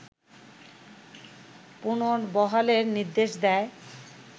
পুনর্বহালের নির্দেশ দেয়